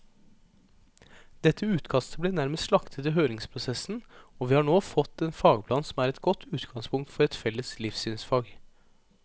Dette utkastet ble nærmest slaktet i høringsprosessen, og vi har nå fått en fagplan som er et godt utgangspunkt for et felles livssynsfag.